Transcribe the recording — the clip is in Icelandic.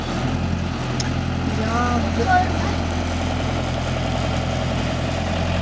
Jaðarurð safnast milli jökuls og fjalls og jökulgarður við sporð jökulsins.